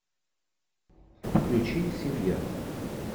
включи семья